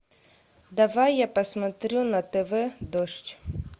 давай я посмотрю на тв дождь